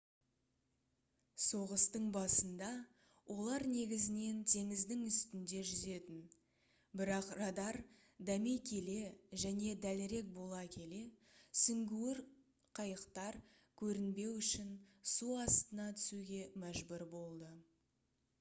соғыстың басында олар негізінен теңіздің үстінде жүзетін бірақ радар дами келе және дәлірек бола келе сүңгуір қайықтар көрінбеу үшін су астына түсуге мәжбүр болды